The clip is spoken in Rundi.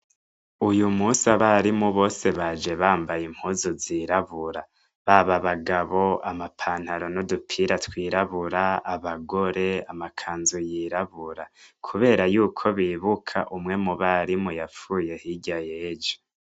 Uyu musi abarimu bose baje bambaye impuzu zirabura. Baba abagabo amapantaro n'udupira twirabura, abagore amakanzu yirabura. Kubera yuko bibuka umwe mu barimu yapfuye hirya y'ejo.